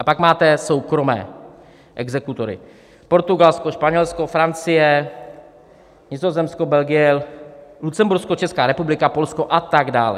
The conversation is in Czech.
A pak máte soukromé exekutory: Portugalsko, Španělsko, Francie, Nizozemsko, Belgie, Lucembursko, Česká republika, Polsko a tak dále.